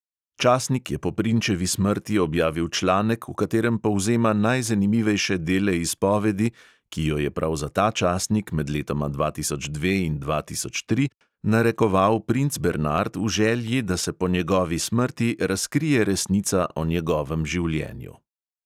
Časnik je po prinčevi smrti objavil članek, v katerem povzema najzanimivejše dele izpovedi, ki jo je prav za ta časnik med letoma dva tisoč dve in dva tisoč tri narekoval princ bernard v želji, da se po njegovi smrti razkrije resnica o njegovem življenju.